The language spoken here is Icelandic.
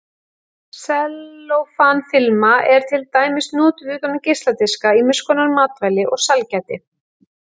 Sellófan-filma er til dæmis notuð utan um geisladiska, ýmiskonar matvæli og sælgæti.